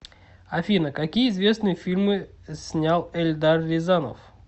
афина какие известные фильмы снял эльдар рязанов